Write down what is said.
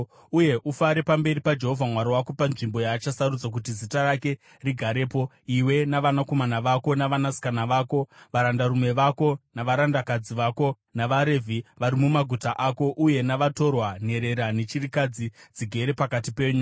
Uye ufare pamberi paJehovha Mwari wako panzvimbo yaachasarudza kuti Zita rake rigarepo, iwe, navanakomana vako navanasikana vako, varandarume vako navarandakadzi vako, navaRevhi vari mumaguta ako, uye navatorwa, nenherera nechirikadzi dzigere pakati penyu.